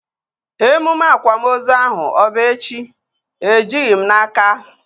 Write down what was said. Emume akwamozu ahu ọ bụ echi? Ejighị m n'aka